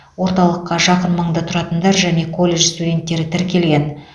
орталыққа жақын маңда тұратындар және колледж студенттері тіркелген